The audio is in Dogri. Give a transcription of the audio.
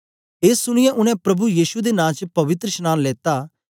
ए सुनीयै उनै प्रभु यीशु दे नां च पवित्रशनांन लेता